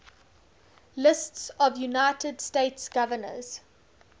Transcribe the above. lists of united states governors